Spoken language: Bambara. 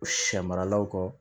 Sɛ maralaw kɔ